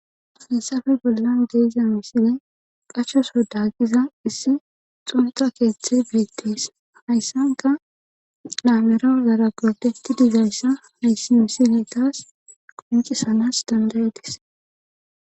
Hayssafe bollan deyza misile qachoso daaqiza issi xumuxa keeththe beegtees hayssanka laamerozara godeti dizayssa hayssi misile taas qonci sanas dandayedis